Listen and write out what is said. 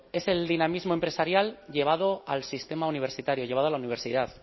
es el dinamismo empresarial llevado al sistema universitario llevado a la universidad